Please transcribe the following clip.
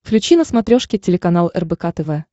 включи на смотрешке телеканал рбк тв